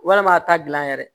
Walima a ta gilan yɛrɛ